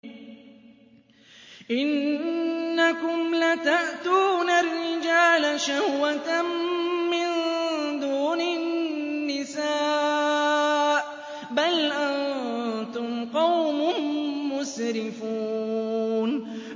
إِنَّكُمْ لَتَأْتُونَ الرِّجَالَ شَهْوَةً مِّن دُونِ النِّسَاءِ ۚ بَلْ أَنتُمْ قَوْمٌ مُّسْرِفُونَ